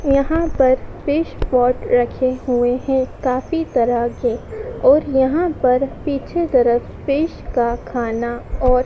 यहां पर fish pot रखे हुए हैं काफी तरह के और यहां पर पीछे तरफ फिश का खाना और--